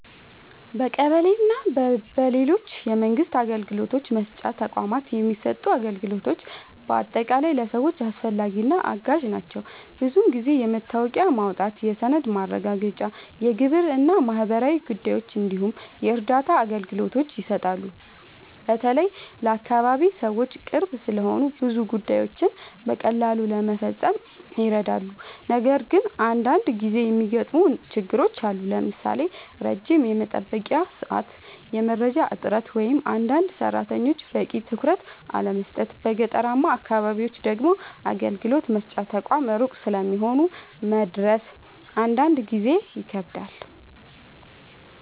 በቀበሌ እና በሌሎች የመንግስት አገልግሎት መስጫ ተቋማት የሚሰጡ አገልግሎቶች በአጠቃላይ ለሰዎች አስፈላጊ እና አጋዥ ናቸው። ብዙ ጊዜ የመታወቂያ ማውጣት፣ የሰነድ ማረጋገጫ፣ የግብር እና ማህበራዊ ጉዳዮች እንዲሁም የእርዳታ አገልግሎቶች ይሰጣሉ። በተለይ ለአካባቢ ሰዎች ቅርብ ስለሆኑ ብዙ ጉዳዮችን በቀላሉ ለመፈጸም ይረዳሉ። ነገር ግን አንዳንድ ጊዜ የሚገጥሙ ችግሮችም አሉ፣ ለምሳሌ ረጅም የመጠበቂያ ሰዓት፣ የመረጃ እጥረት ወይም አንዳንድ ሰራተኞች በቂ ትኩረት አለመስጠት። በገጠራማ አካባቢዎች ደግሞ አገልግሎት መስጫ ተቋማት ሩቅ ስለሚሆኑ መድረስ አንዳንድ ጊዜ ይከብዳል።